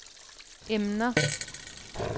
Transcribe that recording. emner